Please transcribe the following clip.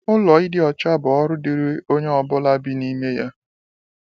Ụlọ ịdị ọcha bụ ọrụ dịrị onye ọ bụla bi n’ime ya.